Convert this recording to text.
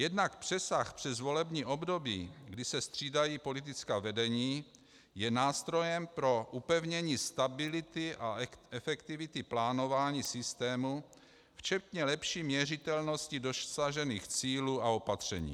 Jednak přesah přes volební období, kdy se střídají politická vedení, je nástrojem pro upevnění stability a efektivity plánování systému, včetně lepší měřitelnosti dosažených cílů a opatření.